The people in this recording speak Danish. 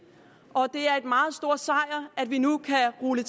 og det er en meget stor sejr at vi nu kan rulle